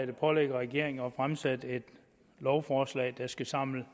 det pålægger regeringen at fremsætte et lovforslag der skal samle